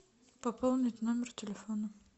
пополнить номер телефона